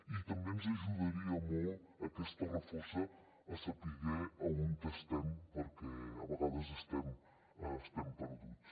i també ens ajudaria molt aquesta refosa a saber a on estem perquè a vegades estem perduts